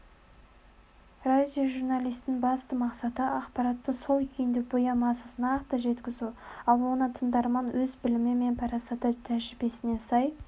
радиожурналистің басты мақсаты ақпаратты сол күйінде боямасыз нақты жеткізу ал оны тыңдарман өз білімі мен парасаты тәжірибесіне сай